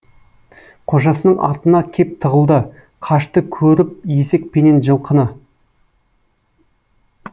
қожасының артына кеп тығылды қашты көріп есек пенен жылқыны